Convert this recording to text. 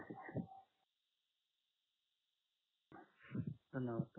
धन्यवाद